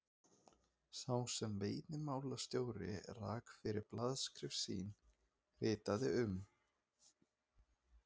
sá sem veiðimálastjóri rak fyrir blaðaskrif sín, ritaði um